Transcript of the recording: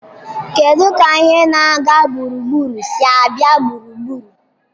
Kedu ka ihe na-aga gburugburu si abịa gburugburu?